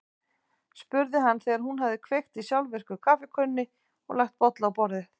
spurði hann þegar hún hafði kveikt á sjálfvirku kaffikönnunni og lagt bolla á borðið.